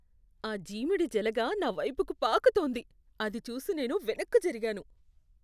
ఆ జీమిడి జలగ నావైపుకి పాకుతోంది, అది చూసి నేను వెనక్కి జరిగాను.